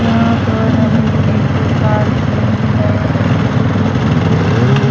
यहां पर हमें एक कार दिख रही है वो भी टूटी फूटी हुई।